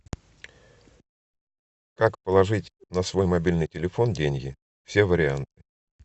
как положить на свой мобильный телефон деньги все варианты